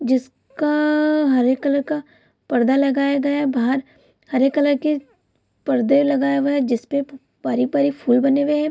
जिसका आअ हरे कलर का पर्दा लगाया गया है बाहर हरे कलर के पर्दे लगाया हुआ है जिसपे पारी-पारी फूल बने हुए है।